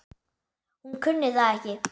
Hún kunni það ekki.